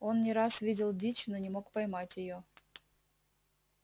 он не раз видел дичь но не мог поймать её